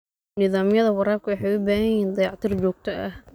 Nidaamyada waraabka waxay u baahan yihiin dayactir joogto ah.